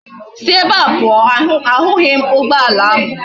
Si ebe a puo! ahughi m ugboala ahu!